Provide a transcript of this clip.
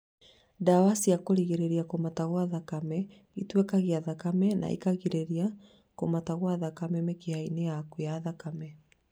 Ndawa cia kũrigĩrĩria kũmata gwa thakame, itwekagia thakame na ikarigĩrĩria kũmata gwa thakame mĩkiha-inĩ yaku ya thakame